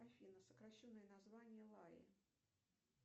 афина сокращенное название лаи